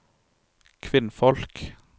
kvinnfolk